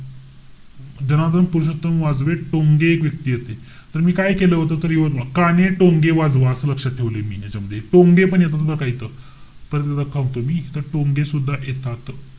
जनार्दन पुरोशत्तम टोंगे एक व्यक्तीयेत. तर मी काय केलं होत? तर यवतमाळ. काणे टोंगे वाजवा असं लक्षात ठेवलाय मी याच्यामध्ये. टोंगे पण येत बरं का इथं. परत एकदा सांगतो मी, इथे टोंगे सुद्धा येतात.